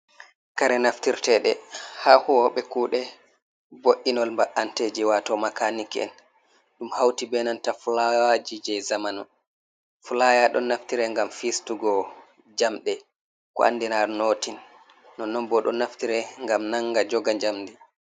Kare naftirteɗe ha huwobe kuɗe vo’inol ba’anteji wato makanik'en. Ɗum hauti be nanta fulayaji je zamanu. fulaya ɗon naftira ngam fistugo jamɗe ko andinar notin nonon bo ɗon naftira ngam nanga joga jamdi.